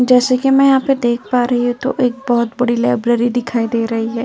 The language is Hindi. जैसे कि मैं यहां पर देख पा रही हूं तो एक बहोत बड़ी लाइब्रेरी दिखाई दे रही है।